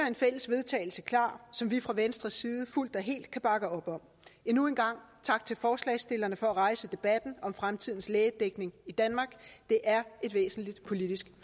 en fælles vedtagelse klar som vi fra venstres side fuldt og helt kan bakke op om endnu en gang tak til forslagsstillerne for at rejse debatten om fremtidens lægedækning i danmark det er et væsentligt politisk